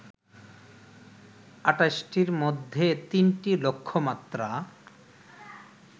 ২৮টির মধ্যে তিনটি লক্ষ্যমাত্রা